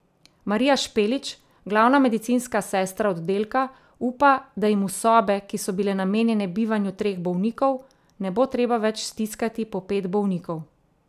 Marija Špelič, glavna medicinska sestra oddelka, upa, da jim v sobe, ki so bile namenjene bivanju treh bolnikov, ne bo treba več stiskati po pet bolnikov.